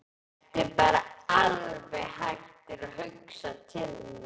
Ertu bara alveg hættur að hugsa til mín?